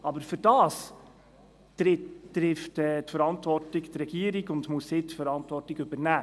Aber dafür muss die Regierung die Verantwortung übernehmen.